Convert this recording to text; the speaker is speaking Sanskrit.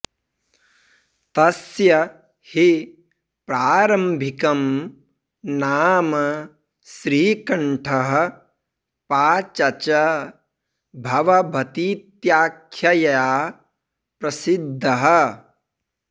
तस्य हि प्रारम्भिकं नाम श्रीकण्ठः पाचच भवभतीत्याख्यया प्रसिद्धः